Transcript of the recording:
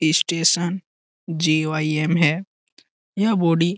Station GOIM. है। यह body --